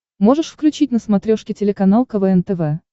можешь включить на смотрешке телеканал квн тв